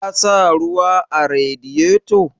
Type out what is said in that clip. Ka sa ruwa a Radiyeto?